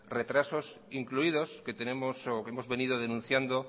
retrasos incluidos que tenemos o que hemos venido denunciando